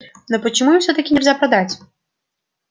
но почему им всё-таки нельзя продать